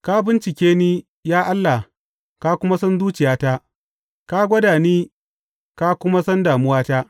Ka bincike ni, ya Allah ka kuma san zuciyata; ka gwada ni ka kuma san damuwata.